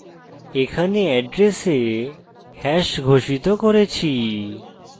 এখানে এড্রেসে hash ঘোষিত করেছি